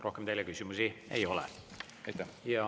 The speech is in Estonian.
Rohkem teile küsimusi ei ole.